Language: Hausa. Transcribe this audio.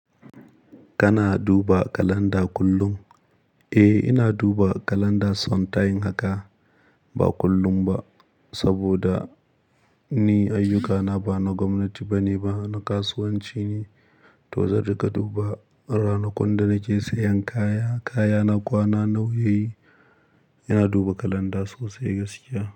Kana duba kalanda kullum? Eh, ina duba kalanda son tayin haka. Ba kullum ba, saboda ni ayyukana ba na gwamnati bane ba, na kasuwanci ne. To zan ruka duba ranakun da nake sayan kaya, kaya na kwana nauyi. Ina duba kalanda sosai gaskiya.